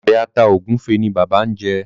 Obe ata egufe ní bàbá ñ jé.